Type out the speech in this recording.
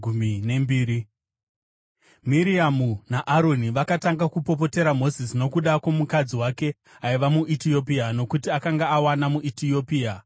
Miriamu naAroni vakatanga kupopotera Mozisi nokuda kwomukadzi wake aiva muEtiopia, nokuti akanga awana muEtiopia.